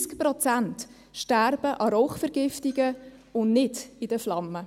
90 Prozent sterben an Rauchvergiftungen, und nicht in den Flammen.